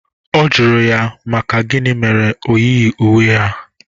Ọ jụrụ ya maka gịnị mere na o yighi uwe ha.